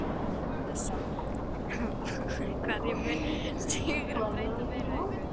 Magnús Hlynur Hreiðarsson: Hverju mun stígurinn breyta fyrir ykkur?